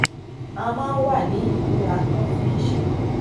a máa ń wà ní ìmúratán fun iṣẹ